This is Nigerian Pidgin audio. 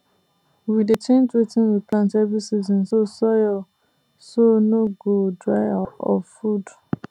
we dey change wetin we plant every season so soil so no go dry of food